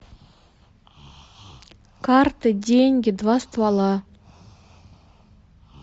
карты деньги два ствола